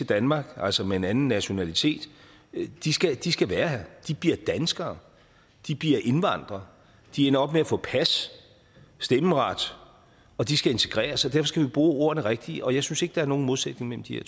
danmark altså med en anden nationalitet de skal de skal være her de bliver danskere de bliver indvandrere de ender op med at få pas og stemmeret og de skal integreres og skal vi bruge ordene rigtigt og jeg synes ikke der er nogen modsætning mellem de